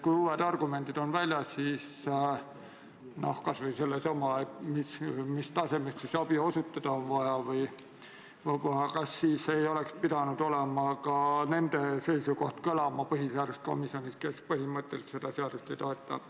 Nii et kui on esitatud uued argumendid, siis kas ei oleks pidanud põhiseaduskomisjonis kõlama ka nende ekspertide seisukoht, kes põhimõtteliselt seda seadust ei toeta.